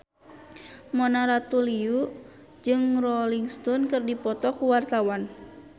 Mona Ratuliu jeung Rolling Stone keur dipoto ku wartawan